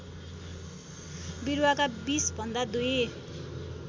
विरूवाका विषभन्दा दुई